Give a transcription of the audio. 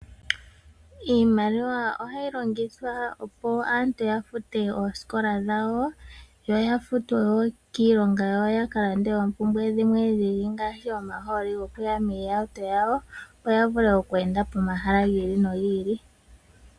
Iimaliwa ohayi longithwa opo aantu yafute oosikola dhawo yo yafutwe woo kiilongo yawo ya kakonge oompumbwe dhimwe ngaashi omahooli gokuya moohauto dhawo opp yavule oku enda pomahala gibili nogi ili.